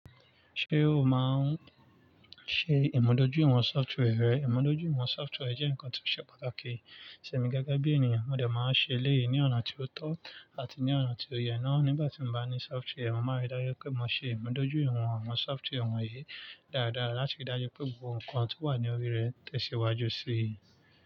Ṣé o máa ń ṣe ìmúdójúiwọ̀n sọftware rẹ? Ìmúdójúìwọ̀n sọftware jẹ́ nǹkan tó ṣe pàtàkì. Sẹ̀mi gege bí ènìyàn, mo dẹ̀ máa ń ṣe eléyìí ní ọ̀nà tí ó tọ́ àti ní ọ̀nà tí ó yẹ ná. Nígbà tí mo bá ní sọftware, mo máa rí dájú pé mo ṣe ìmúdójúìwọ̀n àwọn sọftware wọ̀nyí dáradára láti rí dájú pé gbogbo nǹkan tó wà ní orí rẹ̀ tẹ̀síwájú sí i.